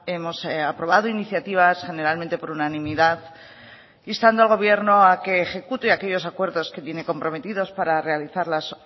hemos aprobado iniciativas generalmente por unanimidad instando al gobierno a que ejecute aquellos acuerdos que tiene comprometidos para realizar las